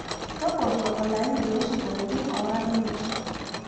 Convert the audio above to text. tobolo olaini loo isingolioni oora imiet